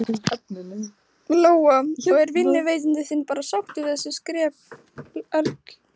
Lóa: Og er vinnuveitandi þinn bara sáttur við þessi skrepp öll?